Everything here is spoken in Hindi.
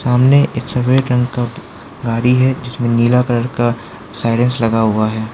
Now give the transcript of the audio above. सामने एक सफेद रंग का गाड़ी है जिसमें नीला कलर का साइरेंस लगा हुआ है।